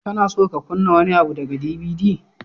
Kana so ka kunna wani abu daga DVD?